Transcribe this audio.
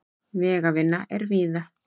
Vegavinna er víða